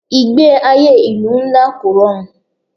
Ìgbé ayé ìlú ńlá kò rọrùn.